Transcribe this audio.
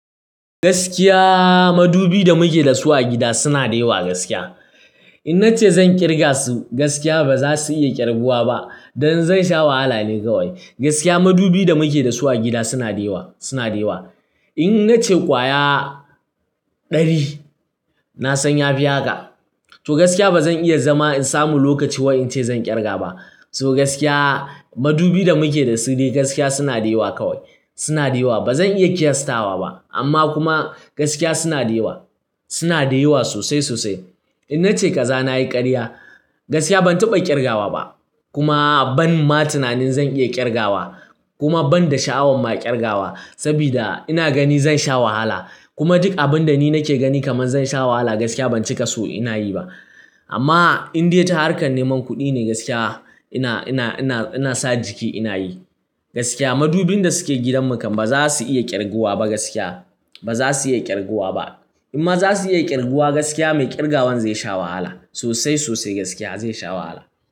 Gaskiya madubi da muke da su a gida suna da yawa gaskiya. In nace zan kirga su gaskiya ba za su iya ƙirguwa ba. Dan zan sha wahala ne kawai. Gaskiya madubin da muke da su a gida suna da yawa, suna da yawa. In nace kwaya ɗari, na san ya fi haka. To gaskiya ba zan iya zama in samu lokaci wai ince zan ƙirga ba. To gaskiya madubi da muke da su dai gaskiya suna da yawa kawai, suna da yawa. Ba zan iya ƙyastawa ba amma kuma gaskiya suna da yawa, suna da yawa sosai sosai. In nace kaza nayi ƙarya gaskiya ban taɓa ƙirgawa ba kuma ban ma tunanin zan iya ƙirgawa kuma ban da sha'awan ma ƙirgawa. Saboda ina gani zan sha wahala. Kuma duk abin da ni nake gani kaman zan sha wahala gaskiya ban cika so ina yi ba. Amma in dai ta harkar neman kuɗi ne gaskiya ina, ina, ina, ina sa jiki ina yi. Gaskiya madubin da suke gidan mu kam ba za su iya ƙirguwa ba gaskiya. Ba za su iya ƙirguwa ba. Inma za su iya ƙirguwa gaskiya mai ƙirgawan zai sha wahala sosai sosai gaskiya zai sha wahala.